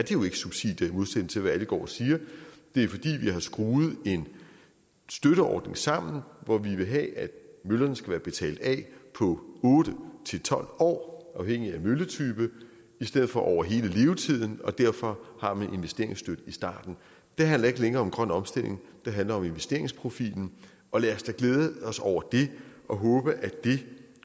jo ikke subsidier i modsætning til hvad alle går og siger det er fordi vi har skruet en støtteordning sammen hvor vi vil have at møllerne skal være betalt af på otte tolv år afhængigt af mølletype i stedet for over hele levetiden og derfor har man et investeringsdyk i starten det handler ikke længere om grøn omstilling det handler om investeringsprofilen og lad os da glæde os over det og håbe at det